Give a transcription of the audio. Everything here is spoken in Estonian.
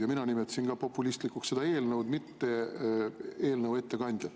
Ja mina nimetasin ka populistlikuks seda eelnõu, mitte eelnõu ettekandjat.